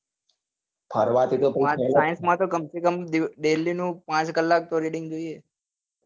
science માં તો કમસેકમ daily નું પાંચ કલાક નું reading તો જોઈએ જ